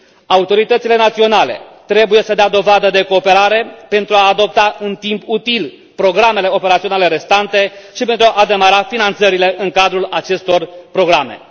Autoritățile naționale trebuie să dea dovadă de cooperare pentru a adopta în timp util programele operaționale restante și pentru a demara finanțările în cadrul acestor programe.